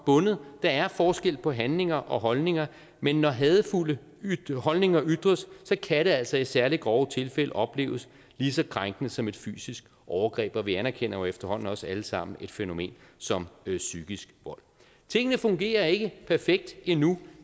bundet der er forskel på handlinger og holdninger men når hadefulde holdninger ytres kan det altså i særlig grove tilfælde opleves lige så krænkende som et fysisk overgreb og vi anerkender jo efterhånden også alle sammen et fænomen som psykisk vold tingene fungerer ikke perfekt endnu